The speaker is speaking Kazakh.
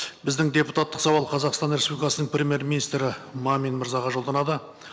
біздің депутаттық сауал қазақстан республикасының премьер министрі мамин мырзаға жолданады